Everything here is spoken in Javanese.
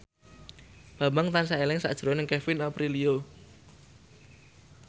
Bambang tansah eling sakjroning Kevin Aprilio